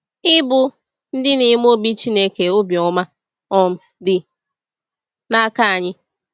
Ịbụ ‘Ndị Na-eme Obi Chineke Obi Ọma’ um Dị N’aka Anyị.